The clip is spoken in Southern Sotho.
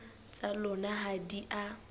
tsa lona ha di a